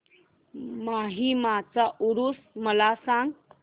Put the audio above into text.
माहीमचा ऊरुस मला सांग